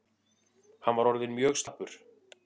Hann var orðinn mjög slappur.